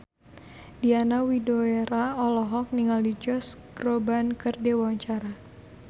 Diana Widoera olohok ningali Josh Groban keur diwawancara